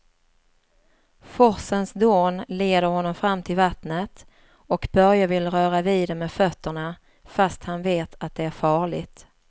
Forsens dån leder honom fram till vattnet och Börje vill röra vid det med fötterna, fast han vet att det är farligt.